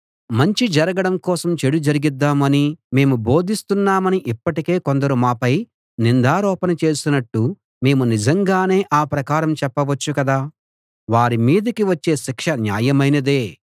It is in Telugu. మంచి జరగడం కోసం చెడు జరిగిద్దాం అని మేము బోధిస్తున్నామని ఇప్పటికే కొందరు మాపై నిందారోపణ చేసినట్టు మేము నిజంగానే ఆ ప్రకారం చెప్పవచ్చు కదా వారి మీదికి వచ్చే శిక్ష న్యాయమైనదే